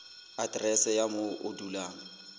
aterese ya moo o dulang